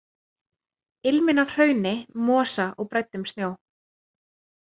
Ilminn af hrauni, mosa og bræddum snjó.